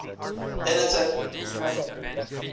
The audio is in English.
editor kimberly fortier